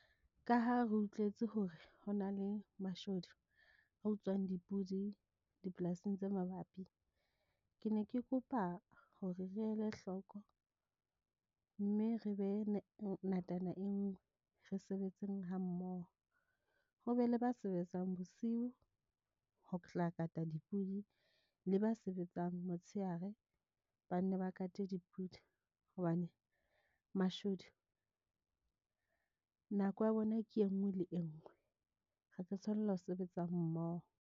Ka ha re utlwetse hore ho na le mashodu a utswang dipudi dipolasing tse mabapi, ke ne ke kopa hore re ele hloko, mme re be ngatananngwe. Re sebetseng ha mmoho ho be le ba sebetsang bosiu ho tla kata dipudi le ba sebetsang motsheare ba nne ba kate dipudi hobane mashodu, nako ya bona ke e nngwe le e nngwe, re tlo tshwanela ho sebetsa mmoho.